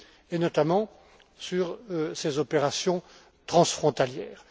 et notamment sur ses opérations transfrontalières.